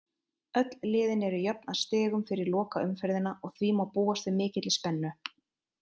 Öll liðin eru jöfn að stigum fyrir lokaumferðina og því má búast við mikilli spennu.